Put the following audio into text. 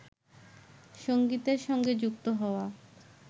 সঙ্গীতের সঙ্গে যুক্ত হওয়া